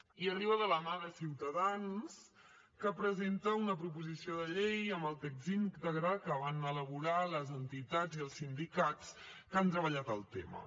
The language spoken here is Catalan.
i arriba de la mà de ciutadans que presenta una proposició de llei amb el text íntegre que van elaborar les entitats i els sindicats que han treballat el tema